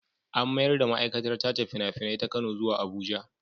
An mayar da ma'aikatar tace fina-finai ta Kano zuwa Abuja.